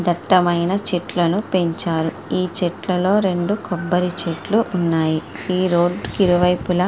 దట్టమైన చెట్లను పెంచారు. ఈ చెట్లలోని రెండు కొబ్బరి చెట్లు ఉన్నాయి. రోడ్డు కి ఇరువైపులా--